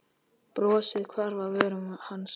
Brosið hvarf af vörum hans.